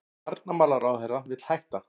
Varnarmálaráðherra vill hætta